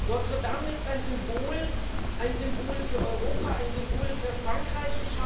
Notre Dame ist ein Symbol ein Symbol für Europa, ein Symbol für Frankreich.